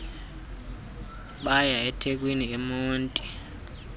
bay ethekwini emonti